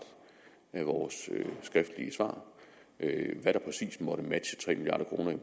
af vores skriftlige svar hvad der præcis måtte matche tre milliard kroner